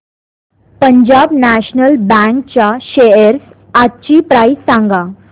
Punjab National Bank च्या shares आजची price सांगा